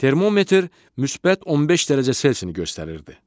Termometr müsbət 15 dərəcə C-ni göstərirdi.